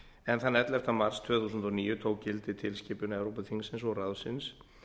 en þann ellefta mars tvö þúsund og níu tók gildi tilskipun evrópuþingsins og ráðsins